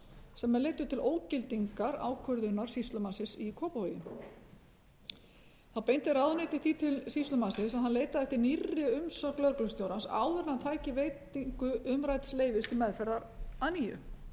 sem leiddu til ógildingar ákvörðunar sýslumannsins í kópavogi þá beindi ráðuneytið því til sýslumannsins að hann leitaði aftur nýrri umsögn lögreglustjórans áður en hann tæki veitingu umrædds leyfis til meðferðar að nýju málinu